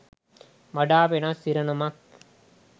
වඩා වෙනස් ඉරණමක්